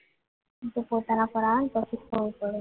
એ પોતાના પર આવીને પછી જ ખબર પડે